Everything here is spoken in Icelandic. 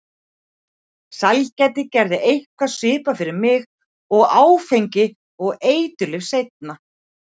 Sælgæti gerði eitthvað svipað fyrir mig og áfengi og eiturlyf seinna.